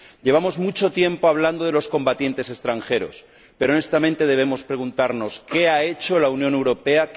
Llevamos mucho tiempo hablando de los combatientes extranjeros pero, honestamente, debemos preguntarnos ¿qué ha hecho la Unión Europea?